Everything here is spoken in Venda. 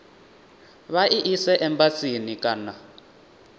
vha i ise embasini kana